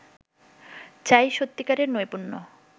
চাই সত্যিকারের নৈপুণ্য